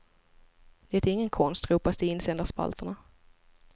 Detta är ingen konst, ropas det i insändarspalterna.